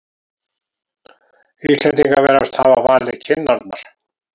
Íslendingar virðast hafa valið kinnarnar.